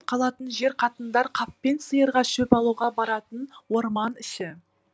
қалатын жер қатындар қаппен сиырға шөп алуға баратын орман іші